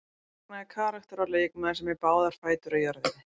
Magnaður karakter og leikmaður sem er með báðar fætur á jörðinni.